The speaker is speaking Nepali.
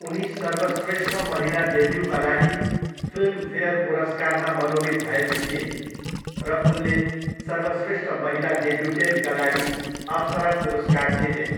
उनी सर्वश्रेष्ठ महिला डेब्युका लागि फिल्मफेयर पुरस्कारमा मनोनीत भएकी थिइन् र उनले सर्वश्रेष्ठ महिला डेब्युटेन्टका लागि अप्सरा पुरस्कार जितिन्।